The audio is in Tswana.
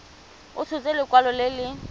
a tshotse lekwalo le le